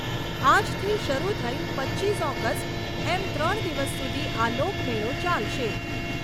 આજથી શરૂ થઈ પચીસ ઓગસ્ટ એમ ત્રણ દિવસ સુધી આ લોકમેળો ચાલશે.